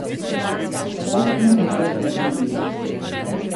Tako ne morem več živeti.